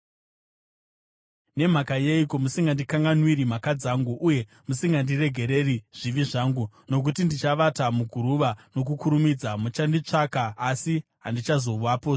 Nemhaka yeiko musingandikanganwiri mhaka dzangu uye musingandiregereri zvivi zvangu? Nokuti ndichavata muguruva nokukurumidza. Muchanditsvaka, asi handichazovapozve.”